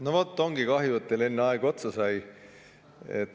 No vot, ongi kahju, et teil enne aeg otsa sai.